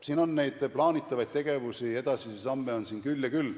Nii et plaanitavaid tegevusi ja edasisi samme on küll ja küll.